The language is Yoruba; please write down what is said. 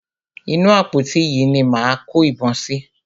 Inú àpótí yìí ni a máa kó ìbọn sí.